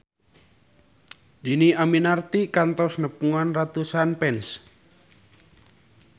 Dhini Aminarti kantos nepungan ratusan fans